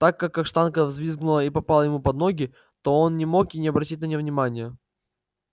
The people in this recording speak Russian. так как каштанка взвизгнула и попала ему под ноги то он не мог и не обратить на неё внимания